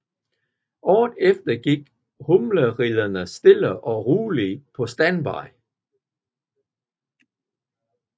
Året efter gik Humleridderne stille og roligt på standby